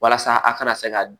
Walasa a kana se ka